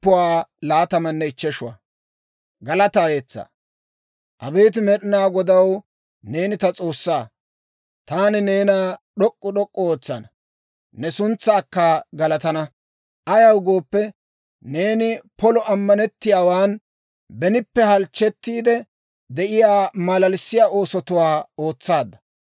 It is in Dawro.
Abeet Med'inaa Godaw, neeni ta S'oossaa. Taani neena d'ok'k'u d'ok'k'u ootsana; ne suntsaakka galatana. Ayaw gooppe, neeni polo ammanettiyaawaan benippe halchchettiide de'iyaa malalissiyaa oosotuwaa ootsaadda.